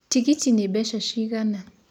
Tĩgĩtĩ nĩ beca cĩĩgana?